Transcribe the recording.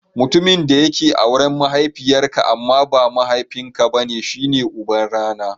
Mutumin da yake auren mahaifiyar ka amma ba mahaifin ka bane shi ne uban rana.